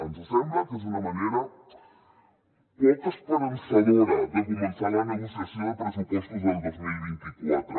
ens sembla que és una manera poc esperançadora de començar la negociació de pressupostos del dos mil vint quatre